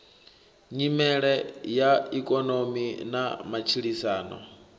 nyimele ya ikonomi na matshilisano